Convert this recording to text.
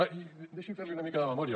ah deixi’m fer li una mica de memòria